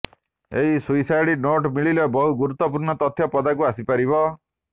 ଏହି suicide note ମିଳିଲେ ବହୁ ଗୁରୁତ୍ୱପୂର୍ଣ୍ଣ ତଥ୍ୟ ପଦାକୁ ଆସିପାରିବ